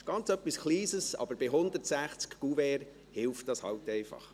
Das ist etwas Kleines, aber bei 160 Kuverts hilft es eben.